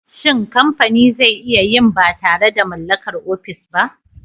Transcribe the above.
Shin kamfani zai iya yin ba tare da mallakar ofis ba?